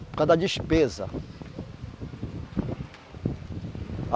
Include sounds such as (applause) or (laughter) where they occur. Por causa da despesa. (unintelligible)